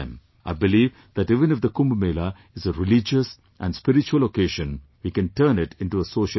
I believe that even if the Kumbh Mela is a religious and spiritual occasion, we can turn it into a social occasion